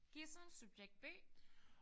Gissem subjekt B